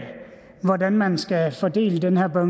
hvordan man skal fordele den her